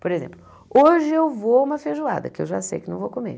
Por exemplo, hoje eu vou a uma feijoada, que eu já sei que não vou comer.